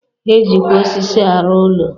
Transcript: E jikwa osisi arụ ụlọ.